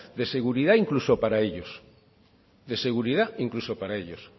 de seguridad incluso para ello de seguridad incluso para ellos